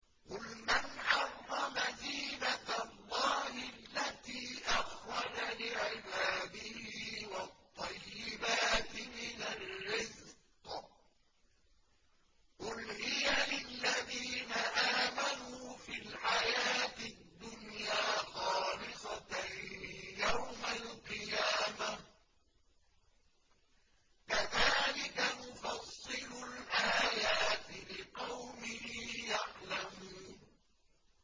قُلْ مَنْ حَرَّمَ زِينَةَ اللَّهِ الَّتِي أَخْرَجَ لِعِبَادِهِ وَالطَّيِّبَاتِ مِنَ الرِّزْقِ ۚ قُلْ هِيَ لِلَّذِينَ آمَنُوا فِي الْحَيَاةِ الدُّنْيَا خَالِصَةً يَوْمَ الْقِيَامَةِ ۗ كَذَٰلِكَ نُفَصِّلُ الْآيَاتِ لِقَوْمٍ يَعْلَمُونَ